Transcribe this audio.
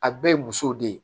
A bɛɛ ye musow de ye